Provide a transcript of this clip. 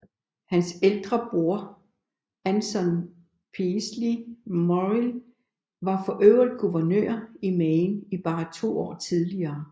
Hans ældre bror Anson Peaslee Morrill var for øvrigt guvernør i Maine bare to år tidligere